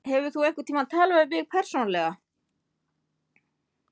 Hefur þú einhverntímann talað við mig persónulega?